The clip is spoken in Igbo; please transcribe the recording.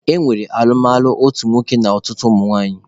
E nwere alụmalụ otu nwoke na ọtụtụ ụmụnwaanyị.